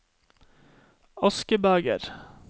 askebeger